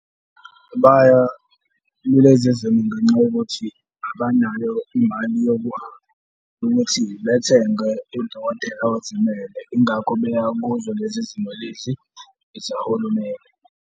Baya kulezi zimo ngenxa yokuthi abanayo imali yokuthi bethenge udokotela ozimele, yingakho beya kuzo lezi zimo lezi ezikahulumeni.